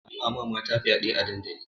Ana wa mata fyaɗe a dandali